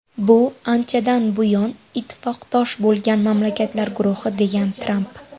Bu anchadan buyon ittifoqdosh bo‘lgan mamlakatlar guruhi”, degan Tramp.